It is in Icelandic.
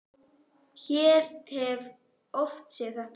Ég hef oft séð þetta.